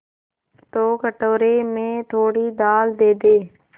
तो कटोरे में थोड़ी दाल दे दे